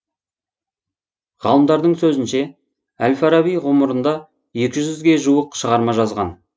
ғалымдардың сөзінше әл фараби ғұмырында екі жүзге жуық шығарма жазған